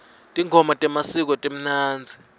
tingoma temasiko timnandzi